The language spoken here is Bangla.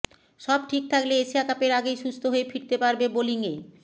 সব ঠিক থাকলে এশিয়া কাপের আগেই সুস্থ হয়ে ফিরতে পারবে বোলিংয়ে